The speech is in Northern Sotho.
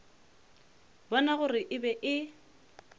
bona gore e be e